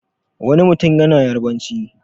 Wani mutum yana Yarabanci.